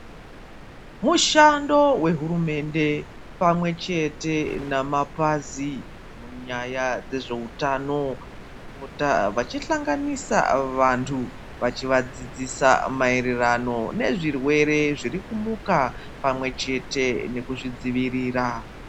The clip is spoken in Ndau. Mushando wehurumende pamwe chete namapazi, munyaya dzezvewutano kupota vachihlanganisa vantu, vachivadzidzisa mayererano nezvirwere zvirikumuka, pamwe chete nekuzvidzivirira.